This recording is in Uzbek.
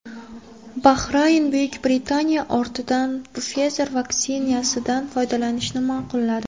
Bahrayn Buyuk Britaniya ortidan Pfizer vaksinasidan foydalanishni ma’qulladi.